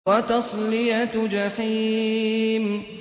وَتَصْلِيَةُ جَحِيمٍ